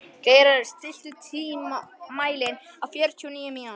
Geirarður, stilltu tímamælinn á fjörutíu og níu mínútur.